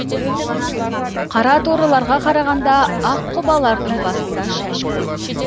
қараторыларға қарағанда аққұбалардың басында шаш көп